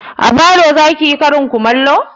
A falo zaki yi karin kumallo?